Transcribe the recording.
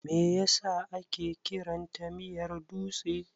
Me yasa ake kiranta miyar dutse?